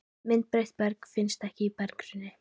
Ég býst við að atkvæði Þórs Guðjónssonar í